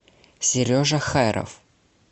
сережа хайров